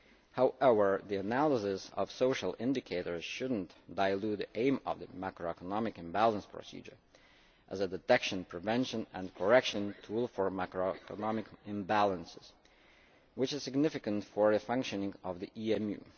However, the analysis of social indicators should not dilute the aim of the Macroeconomic Imbalance Procedure as a detection, prevention and correction tool for macroeconomic imbalances, which is significant for the functioning of the